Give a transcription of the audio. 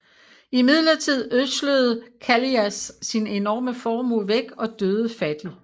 Imidlertid ødslede Kallias sin enorme formue væk og døde fattig